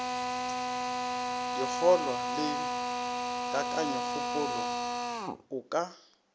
dikgolwa le kakanyokgopolo o ka